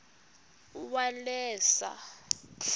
uwaleza